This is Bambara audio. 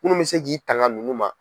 Munnu mɛ se k'i tanga nunnu ma.